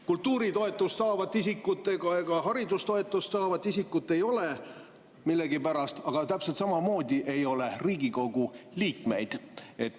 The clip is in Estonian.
Kultuuritoetust saavat isikut ega haridustoetust saavat isikut ei ole millegipärast, aga täpselt samamoodi ei ole Riigikogu liikmeid.